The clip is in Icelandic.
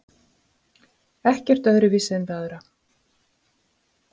Ekkert öðruvísi en við aðra.